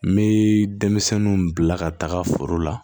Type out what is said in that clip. N bɛ denmisɛnninw bila ka taa foro la